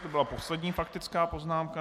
To byla poslední faktická poznámka.